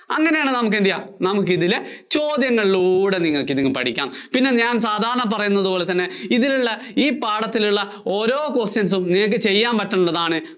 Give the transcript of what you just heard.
അങ്ങിനെയാണെങ്കില്‍ നമുക്ക് എന്ത് ചെയ്യാം. നമുക്കിതിലെ ചോദ്യങ്ങളിലൂടെ നിങ്ങള്‍ക്കിങ്ങനെ പഠിക്കാം. പിന്നെ ഞാന്‍ സാധാരണ പറയുന്നപോലെ തന്നെ ഇതിലുള്ള ഈ പാഠത്തിലുള്ള ഓരോ questions ഉം നിങ്ങള്‍ക്ക് ചെയ്യാന്‍ പറ്റുന്നതാണ്